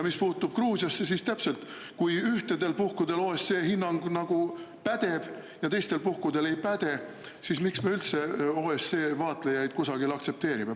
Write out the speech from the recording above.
Mis puutub Gruusiasse: kui ühel puhul OSCE hinnang nagu pädeb ja teisel puhul ei päde, siis miks me üldse OSCE vaatlejaid kusagil aktsepteerime.